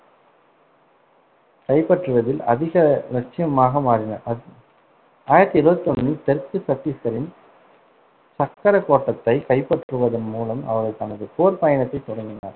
கைப்பற்றுவதில் அதிக லட்சியமாக மாறினார் அ~ ஆயிரத்தி இருவத்தி ஒண்ணில் தெற்கு சத்தீஸ்கரின் சக்கரக்கோட்டத்தைக் கைப்பற்றுவதன் மூலம் அவர் தனது போர் பயணத்தைத் தொடங்கினார்.